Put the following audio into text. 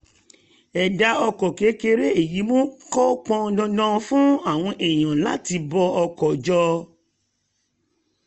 ẹ̀dá ọkọ̀ kéré èyí mú kó pọn dandan fún àwọn èèyàn láti bọ ọkọ̀ jọ